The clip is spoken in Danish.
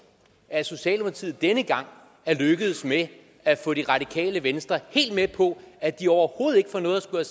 at socialdemokratiet denne gang er lykkedes med at få det radikale venstre helt med på at de overhovedet ikke får noget at skulle